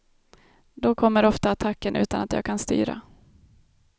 Då kommer ofta attacken utan att jag kan styra.